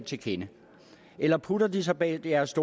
til kende eller putter de sig bag deres